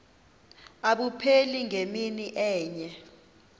abupheli ngemini enye